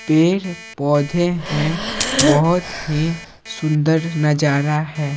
पेड़-पौधे हैं बहुत हीसुंदरनजारा है।